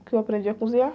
O que eu aprendi a cozinhar?